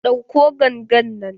Ɗauko gangan nan!